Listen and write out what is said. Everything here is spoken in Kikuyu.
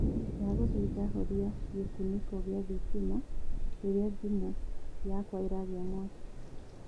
ndagũthaitha horĩa gikuniko gia thitima rĩrĩa thimu yakwaĩragĩa mwakĩ